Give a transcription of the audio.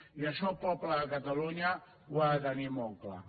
i això el poble de catalunya ho ha de tenir molt clar